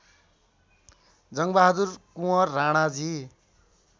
Jangbahadur Kunwar Ranaji